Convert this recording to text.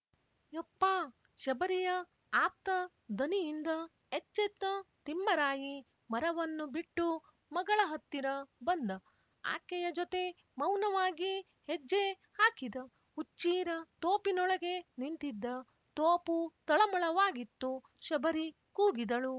ಯಪ್ಪಾ ಶಬರಿಯ ಆಪ್ತ ದನಿಯಿಂದ ಎಚ್ಚೆತ್ತ ತಿಮ್ಮರಾಯಿ ಮರವನ್ನು ಬಿಟ್ಟು ಮಗಳ ಹತ್ತಿರ ಬಂದ ಆಕೆಯ ಜೊತೆ ಮೌನವಾಗಿ ಹೆಜ್ಜೆ ಹಾಕಿದ ಹುಚ್ಚೀರ ತೋಪಿನೊಳಗೆ ನಿಂತಿದ್ದ ತೋಪು ತಳಮಳವಾಗಿತ್ತು ಶಬರಿ ಕೂಗಿದಳು